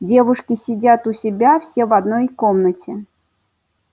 девушки сидят у себя все в одной комнате